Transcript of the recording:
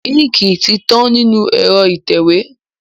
Íńkì ti tán nínú ẹ̀rọ ìtẹ̀wé.